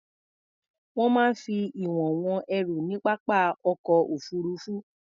Wọ́n máa ń fi ìwọ̀n wọn ẹrù ní pápá ọkọ̀ òfuruufú.